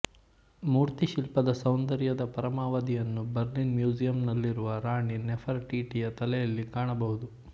ಮೂರ್ತಿಶಿಲ್ಪದ ಸೌಂದರ್ಯದ ಪರಮಾವಧಿಯನ್ನು ಬರ್ಲಿನ್ ಮ್ಯೂಸಿಯಂನಲ್ಲಿರುವ ರಾಣಿ ನೆಫರ್ ಟಿಟಿಯ ತಲೆಯಲ್ಲಿ ಕಾಣಬಹುದು